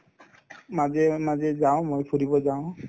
মাজে মাজে যাওঁ মই ফুৰিব যাওঁ